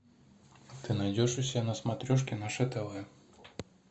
ты найдешь у себя на смотрешке наше тв